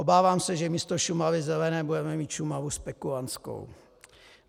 Obávám se, že místo Šumavy zelené budeme mít Šumavu spekulantskou.